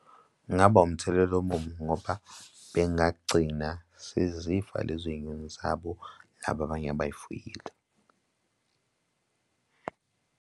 Kungaba umthelela omubi ngoba bengagcina sezifa lezo zinyoni zabo laba abanye abay'fuyile.